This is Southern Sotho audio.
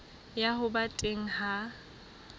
ya ho ba teng ha